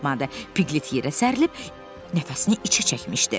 Piqlet yerə sərilib nəfəsini içə çəkmişdi.